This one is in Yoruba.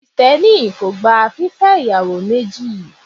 Krìstenì kó gbá fífe iyawo mejí